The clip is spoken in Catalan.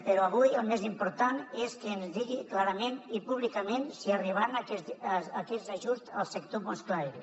però avui el més important és que ens digui clarament i públicament si arribaran aquests ajuts al sector musclaire